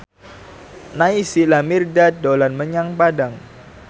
Naysila Mirdad dolan menyang Padang